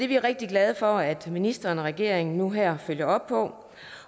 vi rigtig glade for at ministeren og regeringen nu her følger op på